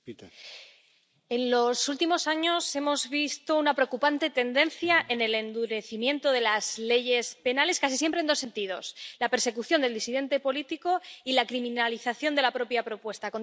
Señor presidente, en los últimos años hemos visto una preocupante tendencia en el endurecimiento de las leyes penales, casi siempre en dos sentidos la persecución del disidente político y la criminalización de la propia propuesta